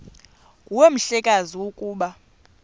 nguwe mhlekazi ukuba